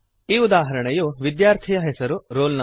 ಈ ಉದಾಹರಣೆಯು ವಿದ್ಯಾರ್ಥಿಯ ಹೆಸರು ರೋಲ್ ನಂ